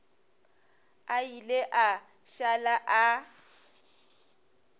a ile a šala a